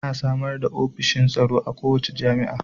Ana samar da ofishin tsaro a kowace jami'a